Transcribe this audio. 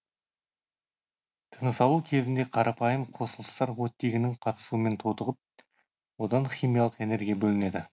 тынысалу кезінде қарапайым қосылыстар оттегінің қатысуымен тотығып одан химиялық энергия бөлінеді